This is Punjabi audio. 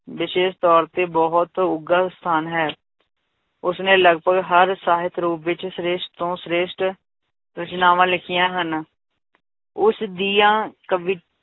ਵਿਸ਼ੇਸ਼ ਤੌਰ ਤੇ ਬਹੁਤ ਉੱਘਾ ਸਥਾਨ ਹੈ ਉਸਨੇ ਲਗਪਗ ਹਰ ਸਾਹਿਤ ਰੂਪ ਵਿੱਚ ਸ੍ਰੇਸ਼ਟ ਤੋਂ ਸ੍ਰੇਸ਼ਟ ਰਚਨਾਵਾਂ ਲਿਖੀਆਂ ਹਨ, ਉਸਦੀਆਂ ਕਵੀ~